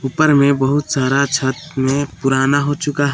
ऊपर में बहुत सारा छत में पुराना हो चुका--